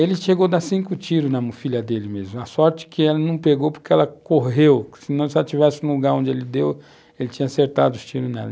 Ele chegou a dar cinco tiros na filha dele mesmo, a sorte que ela não pegou porque ela correu, senão se ela estivesse no lugar onde ele deu, ele tinha acertado os tiros nela.